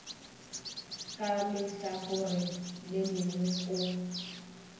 ka lehlakoreng le lengwe o